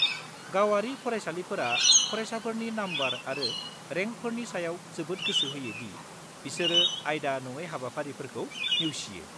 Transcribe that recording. -गावारि फरायसालिफोरा फरायसाफोरनि नम्बर आरो रेंकफोरनि सायाव जोबोद गोसो होयो दि बिसोर आयदा-नङै हाबाफारिफोरखौ नेवसियो।